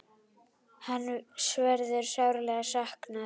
Hans verður sárlega saknað.